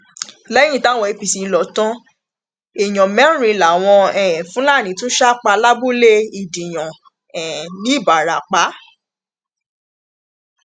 lẹyìn táwọn apc lọ tan èèyàn mẹrin làwọn um fúlàní tún sá pa lábúlé ìdíyàn um ńìbarapá